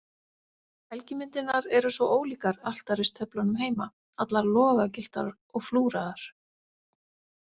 Helgimyndirnar eru svo ólíkar altaristöflunum heima, allar logagylltar og flúraðar.